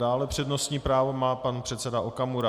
Dále přednostní právo má pan předseda Okamura.